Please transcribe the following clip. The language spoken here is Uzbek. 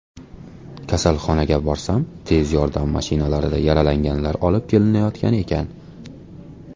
Kasalxonaga borsam tez yordam mashinalarida yaralanganlar olib kelinayotgan ekan.